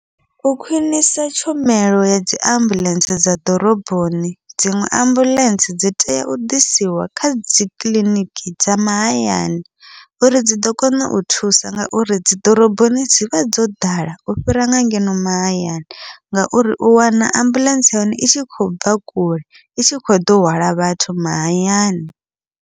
U khwiṋisa tshumelo ya dziambuḽentse dza ḓoroboni dziṅwe ambuḽentse dzi tea u ḓisiwa kha dzikiḽiniki dza mahayani, uri dzi ḓo kona u thusa ngauri dzi ḓoroboni dzivha dzo ḓala u fhira nga ngeno mahayani, ngauri u wana ambuḽentse ya hone i tshi khou bva kule i tshi kho ḓo hwala vhathu mahayani.